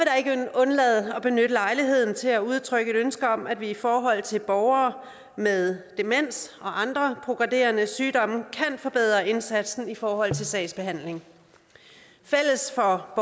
undlade at benytte lejligheden til at udtrykke et ønske om at vi i forhold til borgere med demens og andre progredierende sygdomme kan forbedre indsatsen i forhold til sagsbehandling fælles for